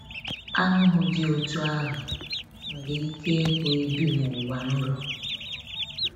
Aṅụhụ dị otú ahụ nwere ike ịbụ ịbi n’ụwa nrọ.